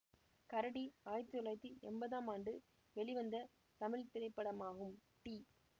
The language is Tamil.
கரடி ஆயிரத்தி தொள்ளாயிரத்தி எம்பதாம் ஆண்டு வெளிவந்த தமிழ் திரைப்படமாகும் டி